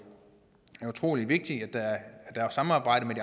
utrolig vigtigt at der er et samarbejde med